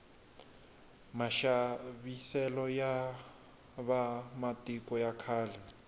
maxaviselo ya va matiko ya khale